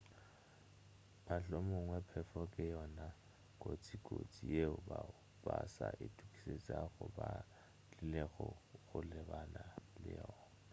mohlomongwe phefo ke yona kotsikotsi yeo bao ba sa itokišetšago ba tlilego go lebana le yona